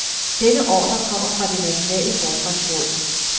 Denne ordre kom fra det nationale forsvarsråd.